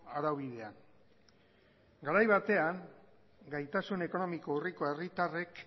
araubidean garaia batean gaitasuna ekonomiko urriko herritarrek